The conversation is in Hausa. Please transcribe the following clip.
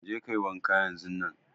Je kayi wanka yanzun nan!